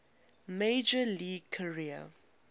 major league career